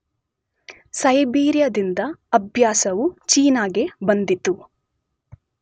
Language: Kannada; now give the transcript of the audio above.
ಸೈಬೀರಿಯಾದಿಂದ ಅಭ್ಯಾಸವು ಚೀನಾಗೆ ಬಂದಿತು